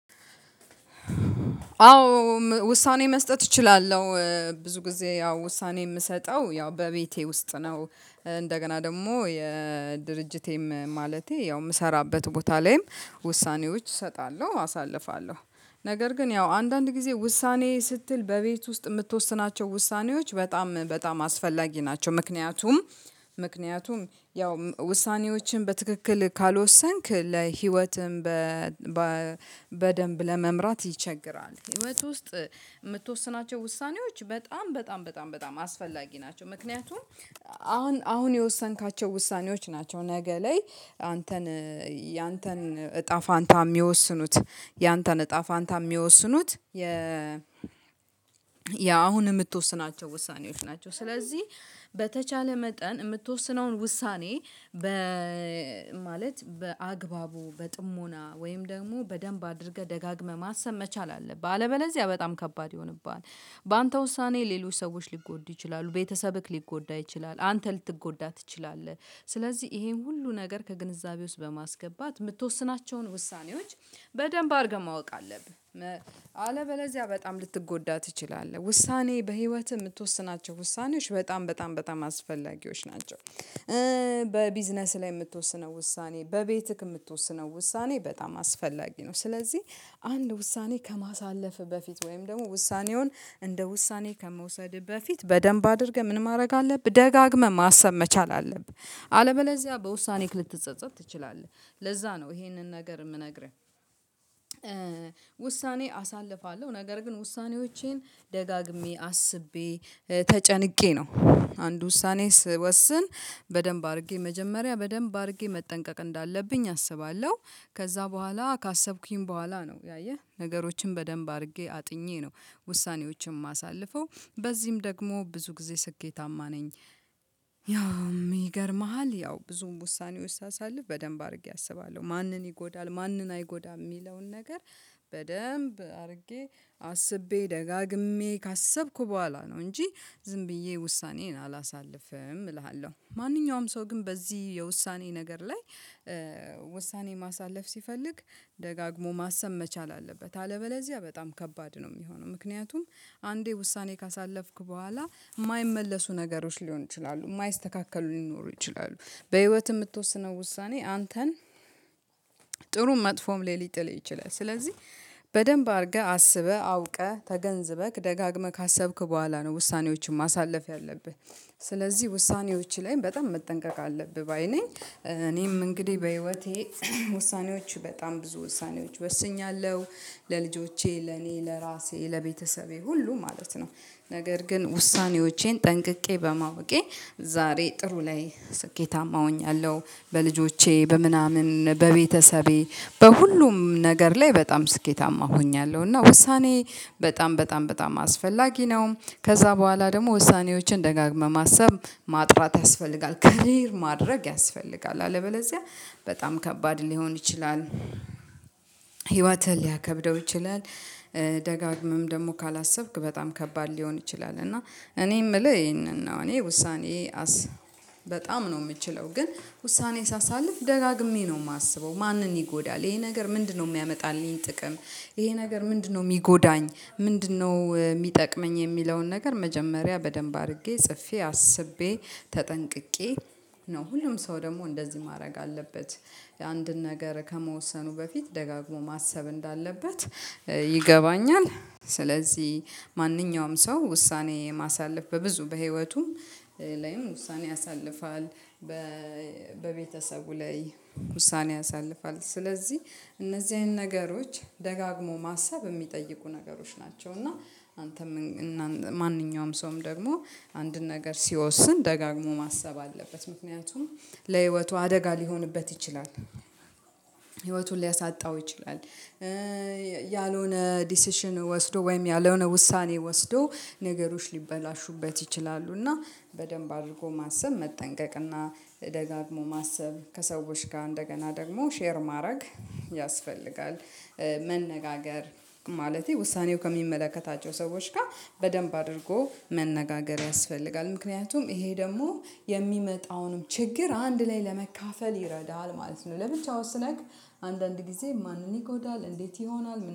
አዎ ውሳኔ መስጠት እችላለሁ ብዙ ጊዜ ያው ውሳኔ የምሰጠው ያው በቤቴ ውስጥ ነው። እንደገና ደግሞ የድርጅቴም ማለቴ ያው የምሰራበት ቦታ ላይም ውሳኔዎች እሰጣለሁ አሳልፋለሁ ነገር ግን ያው አንዳንድ ጊዜ ውሳኔ ስትል በቤት ውስጥ የምትወስናቸው ውሳኔዎች በጣም በጣም አስፈላጊ ናቸው ምክንያቱም ምክንያቱም ያው ውሳኔዎችን በትክክል ካልወሰንክ ለህይወትህም በደንብ ለመምራት ይቸግራል። ህይወት ውስጥ የምትወስናቸው ውሳኔዎች በጣም በጣም በጣም በጣም አስፈላጊ ናቸው። ምክንያቱም አሁን አሁን የወሰንካቸው ውሳኔዎች ናቸው ነገ ላይ አንተን ያንተን እጣ ፋንታ የሚወስኑት ያንተን እጣ ፋንታ የሚወስኑት ያ አሁን የምትወስናቸው ውሳኔዎች ናቸው። ስለዚህ በተቻለ መጠን የምትወስነውን ውሳኔ በ ማለት በአግባቡ በጥሞና ወይም ደግሞ በደንብ አድርገህ ደጋግመህ ማሰብ መቻል አለብህ አለበለዚያ በጣም ከባድ ይሆንብሃል። በአንተ ውሳኔ ሌሎች ሰዎች ሊጎዱ ይችላሉ ቤተሰብክ ሊጎዳ ይችላል። አንተ ልትጎዳ ትችላለህ። ስለዚህ ይሄም ሁሉ ነገር ከግንዛቤ ውስጥ በማስገባት የምትወስናቸውን ውሳኔዎች በደንብ አድርገህ ማወቅ አለብህ አለበለዚያ በጣም ልትጎዳ ትችላለህ። ውሳኔ በህይወትህ የምትወስናቸው ውሳኔዎች በጣም በጣም በጣም አስፈላጊዎች ናቸው። በቢዝነስ ላይ የምትወስነው ውሳኔ በቤትክ የምትወስነው ውሳኔ በጣም አስፈላጊ ነው። ስለዚህ አንድ ውሳኔ ከማሳለፍህ በፊት ወይም ደግሞ ውሳኔውን እንደ ውሳኔ ከመውሰድህ በፊት በደንብ አድርገህ ምን ማድረግ አለብህ ደጋግመህ ማሰብ መቻል አለብህ አለበለዚያ በውሳኔክ ልትጸጸት ትችላለህ። ለዛ ነው ይሄንን ነገር የምነግርህ። ውሳኔ አሳልፋለሁ ነገር ግን ውሳኔዎቼን ደጋግሜ አስቤ ተጨንቄ ነው። አንድ ውሳኔ ስወስን በደንብ አድርጌ መጀመሪያ በደንብ አድርጌ መጠንቀቅ እንዳለብኝ አስባለሁ። ከዛ በኋላ ካሰብኩኝ በኋላ ነው ያየህ ነገሮችን በደንብ አድርጌ አጥኜ ነው ውሳኔዎችን የማሳልፈው በዚህም ደግሞ ብዙ ጊዜ ስኬታማ ነኝ። ያው ይገርምሃል ያው ብዙም ውሳኔዎች ሳሳልፍ በደንብ አድርጌ አስባለሁ ማንን ይጎዳል ማንን አይጎዳም የሚለውን ነገር በደንብ አድርጌ አስቤ ደጋግሜ ካሰብኩ በኋላ ነው እንጂ ዝም ብዬ ውሳኔዬን አላሳልፍም እልሃለሁ። ማንኛውም ሰው ግን በዚህ የውሳኔ ነገር ላይ ውሳኔ ማሳለፍ ሲፈልግ ደጋግሞ ማሰብ መቻል አለበት አለበለዚያ በጣም ከባድ ነው። የሚሆነው ምክንያቱም አንዴ ውሳኔ ካሳለፍክ በኋላ የማይመለሱ ነገሮች ሊሆን ይችላሉ የማይስተካከሉ ሊኖሩ ይችላሉ። በህይወት የምትወስነው ውሳኔ አንተን ጥሩም መጥፎም ላይ ሊጥልህ ይችላል። ስለዚህ በደንብ አድርገህ አስበህ አውቀህ ተገንዝበህ ደጋግመህ ካሰብክ በኋላ ነው ውሳኔዎችን ማሳለፍ ያለብህ። ስለዚህ ውሳኔዎችህ ላይም በጣም መጠንቀቅ አለብህ ባይ ነኝ። እኔም እንግዲህ በህይወቴ ውሳኔዎች በጣም ብዙ ውሳኔዎች ወስኛለሁ ለልጆቼ ለኔ ለራሴ ለቤተሰቤ ሁሉ ማለት ነው። ነገር ግን ውሳኔዎቼን ጠንቅቄ በማወቄ ዛሬ ጥሩ ላይ ስኬታማ ሆኛለሁ በልጆቼ በምናምን በቤተሰቤ በሁሉም ነገር ላይ በጣም ስኬታማ ሆኛለሁ እና ውሳኔ በጣም በጣም በጣም አስፈላጊ ነው። ከዛ በኋላ ደግሞ ውሳኔዎችን ደጋግመህ ማሰብ ማጥራት ያስፈልጋል ክሊር ማድረግ ያስፈልጋል አለበለዚያ በጣም ከባድ ሊሆን ይችላል። ህይወትህን ሊያከብደው ይችላል። ደጋግመም ደግሞ ካላሰብክ በጣም ከባድ ሊሆን ይችላል እና እኔ የምልህ ይሄንን ነው። እኔ ውሳኔ በጣም ነው የምችለው ግን ውሳኔ ሳሳልፍ ደጋግሜ ነው የማስበው ማንን ይጎዳል ይሄ ነገር ምንድነው የሚያመጣልኝ ጥቅም? ይሄ ነገር ምንድነው የሚጎዳኝ? ምንድነው የሚጠቅመኝ? የሚለውን ነገር መጀመሪያ በደንብ አድርጌ ጽፌ አስቤ ተጠንቅቄ ነው ሁሉም ሰው ደግሞ እንደዚህ ማድረግ አለበት። የአንድን ነገር ከመወሰኑ በፊት ደጋግሞ ማሰብ እንዳለበት ይገባኛል። ስለዚህ ማንኛውም ሰው ውሳኔ ማሳለፍ በብዙ በህይወቱም ላይም ውሳኔ ያሳልፋል። በቤተሰቡ ላይ ውሳኔ ያሳልፋል። ስለዚህ እነዚህን ነገሮች ደጋግሞ ማሰብ የሚጠይቁ ነገሮች ናቸው። እና አንተም ማንኛውም ሰውም ደግሞ አንድን ነገር ሲወስን ደጋግሞ ማሰብ አለበት ምክንያቱም ለህይወቱ አደጋ ሊሆንበት ይችላል። ህይወቱን ሊያሳጣው ይችላል። ያልሆነ ዲሲሽን ወስዶ ወይም ያልሆነ ውሳኔ ወስዶ ነገሮች ሊበላሹበት ይችላሉ። እና በደንብ አድርጎ ማሰብ መጠንቀቅ እና ደጋግሞ ማሰብ ከሰዎች ጋር እንደገና ደግሞ ሼር ማድረግ ያስፈልጋል። መነጋገር ማለቴ ውሳኔው ከሚመለከታቸው ሰዎች ጋር በደንብ አድርጎ መነጋገር ያስፈልጋል ምክንያቱም ይሄ ደግሞ የሚመጣውንም ችግር አንድ ላይ ለመካፈል ይረዳል ማለት ነው። ለብቻው ወስነክ አንዳንድ ጊዜ ማንን ይጎዳል እንዴት ይሆናል